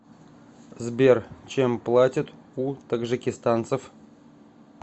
сбер чем платят у таджикистанцев